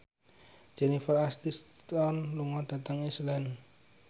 Jennifer Aniston lunga dhateng Iceland